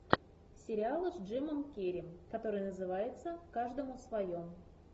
сериалы с джимом керри который называется каждому свое